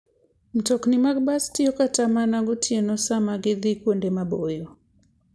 Mtokni mag bas tiyo kata mana gotieno sama gidhi kuonde maboyo.